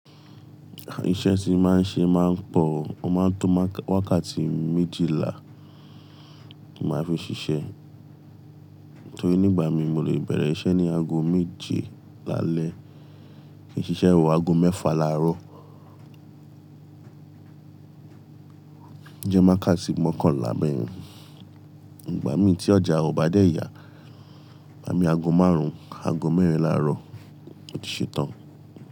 Iṣẹ́ tí máa ń ṣe máa ń pọ̀ o, o máa ń to wákàtí méjìlá mo máa ń fi ṣiṣẹ́. Tori nígbà mi mo lè bẹ̀rẹ̀ iṣẹ́ ní ago méje lálẹ́ fi ṣiṣẹ́ wo ago mẹ́fà láàárọ̀. Jẹ́ mákà sì mookanla beyen. Ìgbà mí tí ọjà ò bá dé ya, igba mi ago márùn-ún, ago mẹ́rin láàárọ̀ ó ti ṣetán.